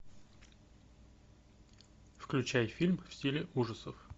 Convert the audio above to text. включай фильм в стиле ужасов